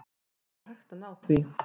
Það er hægt að ná því.